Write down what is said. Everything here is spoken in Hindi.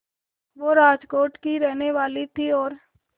वो राजकोट की ही रहने वाली थीं और